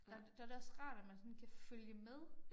Der der det også rart at man sådan kan følge med